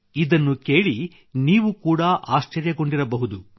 ಇದನ್ನು ಕೇಳಿ ನೀವು ಕೂಡ ಆಶ್ಚರ್ಯಗೊಂಡಿರಬಹುದು